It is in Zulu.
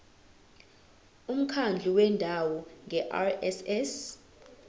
umkhandlu wendawo ngerss